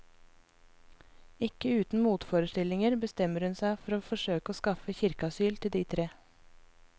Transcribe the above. Ikke uten motforestillinger bestemmer hun seg for å forsøke å skaffe kirkeasyl til de tre.